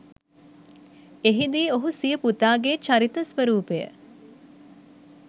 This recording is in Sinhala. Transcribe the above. එහිදී ඔහු සිය පුතාගේ චරිත ස්‌වරූපය